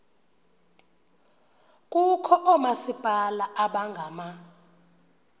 kukho oomasipala abangama